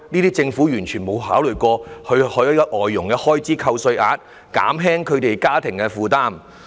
但政府沒有考慮過設立外傭開支扣稅額，減輕這些家庭的負擔。